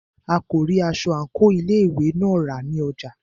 A kò rí aṣọ àńkò ilé ìwé náà rà ní ọjà.